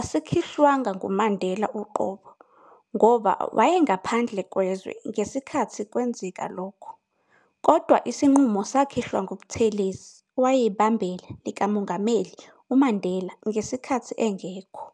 asikhishwanga nguMandela uqobo, ngoba wayengaphandle kwezwe ngesikhathi kwenzeka lokho, kodwa isinqumo sakhishwa nguButhelezi, owayeyibambela likamongameli uMandela, ngesikhathi engekho.